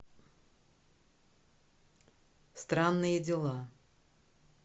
странные дела